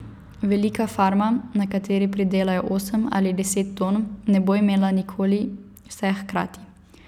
Velika farma, na kateri pridelajo osem ali deset ton, ne bo imela nikoli vseh hkrati.